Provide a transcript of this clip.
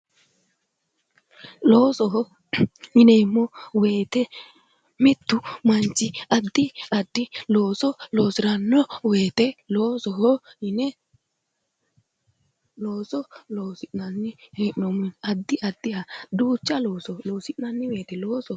Loosoho yineemmo woyte mittu manchi addi addi looso loosiranno woyte loosoho yine looso loosi'nanni duucha woyte addi addiha loosi'nanni woyte loosoho yinanni